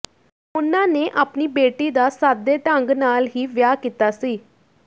ਉਨ੍ਹਾਂ ਨੇ ਆਪਣੀ ਬੇਟੀ ਦਾ ਸਾਦੇ ਢੰਗ ਨਾਲ ਹੀ ਵਿਆਹ ਕੀਤਾ ਸੀ